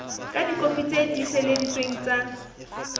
ka dikopi tse tiiseleditsweng tsa